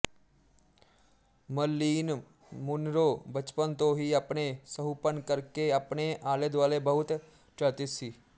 Merlin Monroe ਬਚਪਨ ਤੋਂ ਹੀ ਆਪਣੇ ਸੁਹੱਪਣ ਕਰਕੇ ਆਪਣੇ ਆਲੇ ਦੁਆਲੇ ਬਹੁਤ ਚਰਚਿਤ ਸੀ